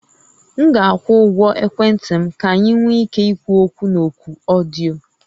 M ga-akwụ ụgwọ ekwentị m ka anyị nwee ike ikwu okwu na oku ọdịyo